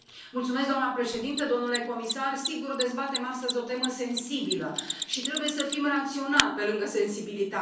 Doamnă președintă, domnule comisar, sigur, dezbatem astăzi o temă sensibilă și trebuie să fim raționali, pe lângă sensibilitate.